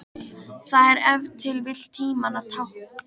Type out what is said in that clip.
Það er ef til vill tímanna tákn.